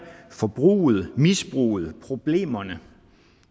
forbruget misbruget problemerne